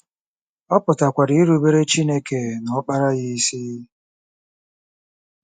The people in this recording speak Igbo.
Ọ pụtakwara irubere Chineke na Ọkpara ya isi.